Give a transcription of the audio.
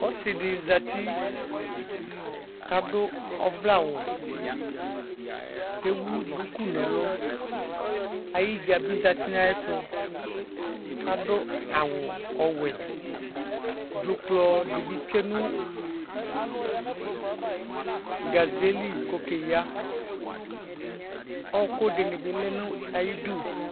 Ɔsidi zati kadu ɔvlɛ awu kewu duku nu ɛlu ayidza bi zati nu ayɛtu kadu awu ɔwɛ dzuklɔ dibi tsue nu gazeli ku okeya ɔkudini bi lɛ nu ayidu